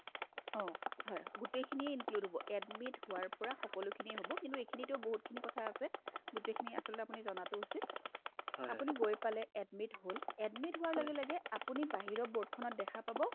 অ, হয় গোটইখিনিয়ে include হ'ব admit হোৱাৰ পৰা সকলোখিনিয়ে হ'ব কিন্তু এইখিনিতে বহুতখিনি কথা আছে গোটেইখিনি আচলতে আপুনি জনাটো উচিত আপুনি গৈ পালে admit হ'ল admit হোৱাৰ লগে লগে আপুনি বাহিৰৰ board খনত দেখা পাব